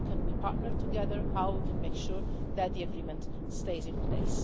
How can we partner together and make sure that the agreement stays in place.